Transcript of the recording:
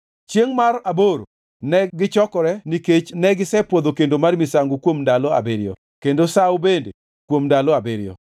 Chiengʼ mar aboro negichokore nikech negisepwodho kendo mar misango kuom ndalo abiriyo kendo sawo bende kuom ndalo abiriyo.